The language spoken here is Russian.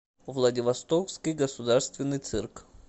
владивостокский государственный цирк